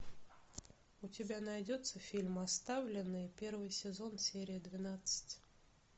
у тебя найдется фильм оставленные первый сезон серия двенадцать